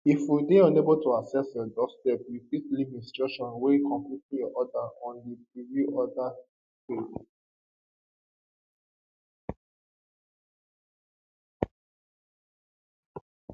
if we dey unable to access your doorstep you fit leave instructions wen completing your order on di preview order page